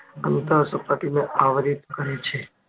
અંતર સપાટીને આવરિત કરે છે